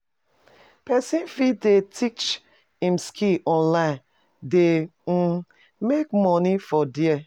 Persin fit dey teach im skill onine de um make money from there